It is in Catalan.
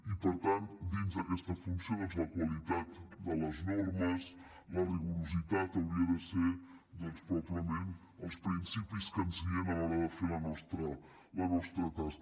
i per tant dins d’aquesta funció doncs la qualitat de les normes la rigorositat hauria de ser probablement els principis que ens guien a l’hora de fer la nostra tasca